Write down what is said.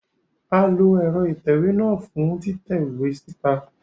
A lo ẹrọ itẹwe náà fun titẹ iwe sita